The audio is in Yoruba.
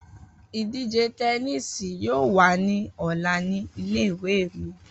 Idije tẹníìsì yoo wa ni ọla ni ìle-ìwe mi.